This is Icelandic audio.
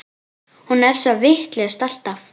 Hún er svo vitlaus alltaf.